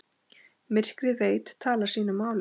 Myrkrið veit talar sínu máli.